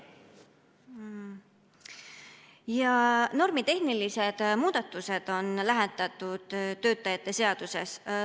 Normitehnilised muudatused on lähetatud töötajate seaduses.